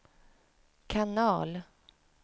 kanal